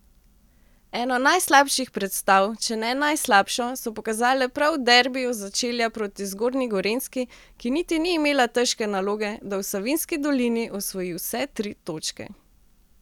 Eno najslabših predstav, če ne najslabšo, so pokazale prav v derbiju začelja proti Zgornji Gorenjski, ki niti ni imela težke naloge, da v Savinjski dolini osvoji vse tri točke.